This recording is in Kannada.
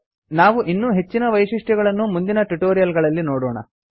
ನಾವು ಇನ್ನೂ ಹೆಚ್ಚಿನ ವೈಶಿಷ್ಟ್ಯಗಳನ್ನು ಮುಂದಿನ ಟ್ಯುಟೋರಿಯಲ್ ಗಳಲ್ಲಿ ನೋಡೋಣ